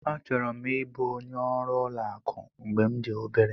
Achọrọ m ịbụ onye ọrụ ụlọ akụ mgbe m dị obere.